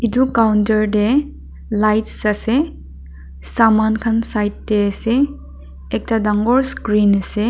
edu counter tae lights ase saman khan side tae ase ekta dangor screen ase.